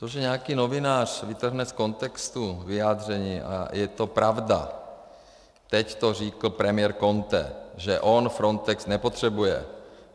To, že nějaký novinář vytrhne z kontextu vyjádření, a je to pravda, teď to řekl premiér Conte, že on Frontex nepotřebuje.